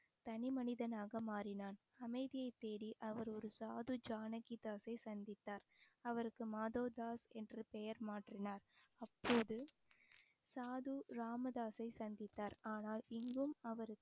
தனி மனிதனாக மாறினான் அமைதியைத் தேடி அவர் ஒரு சாது ஜானகி தாஸை சந்தித்தார் அவருக்கு மாதோதாஸ் என்று பெயர் மாற்றினார் அப்போது சாது ராமதாசை சந்தித்தார் ஆனால் இங்கும் அவருக்கு